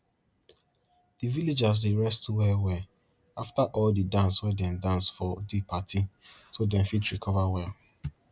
di villagers dey rest well well afta all di dance wey dem dance for di party so dem fit recover well